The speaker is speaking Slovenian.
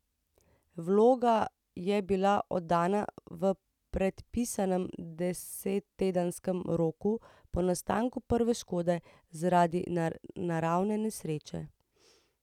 Vloga je bila oddana v predpisanem desettedenskem roku po nastanku prve škode zaradi naravne nesreče.